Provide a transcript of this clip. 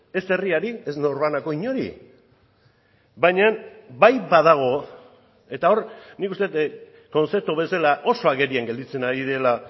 ez herriari ez norbanako inori baina bai badago eta hor nik uste dut kontzeptu bezala oso agerian gelditzen ari dela